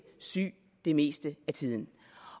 syge det meste af tiden